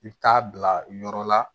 I bɛ taa bila yɔrɔ la